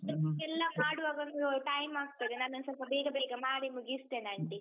ಎಲ್ಲಾ ಮಾಡುವಾಗೊಂದು time ಆಗ್ತದೆ ನಾನ್ ಒಂದ್ ಸ್ವಲ್ಪ ಬೇಗ ಬೇಗ ಮಾಡಿ ಮುಗಿಸ್ತೇನೆ aunty.